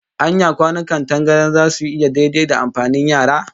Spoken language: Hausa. Anya kwanukan tangaran zasu yi daidai da amfanin yara?